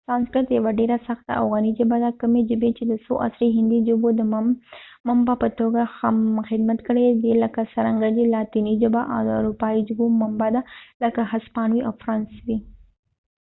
سانسکریت یوه ډیره سخته او غنی ژبه ده کومي ژبی چې د څو عصری هندي ژبو د منبع په توګه خدمت کړي دي لکه څرنګه چې لاتینی ژبه د اروپایې ژبو منبع ده لکه هسپانوي او فرانسوي